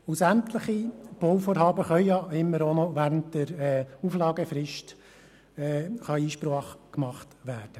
Zudem kann bei sämtlichen Bauvorhaben noch während der Auflagefrist Einsprache erhoben werden.